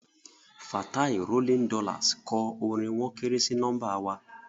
Fatai rolling dollars kọ orin "wọ́n kéré sí nọ́mbà wa"